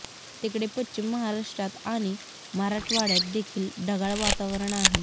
तिकडे पश्चिम महाराष्ट्रात आणि मराठवाड्यात देखील ढगाळ वातावरण आहे